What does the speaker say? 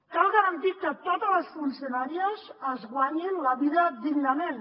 cal garantir que totes les funcionàries es guanyin la vida dignament